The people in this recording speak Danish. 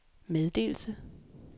meddelelse